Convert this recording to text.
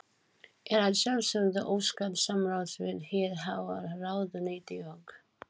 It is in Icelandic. Er að sjálfsögðu óskað samráðs við hið háa ráðuneyti og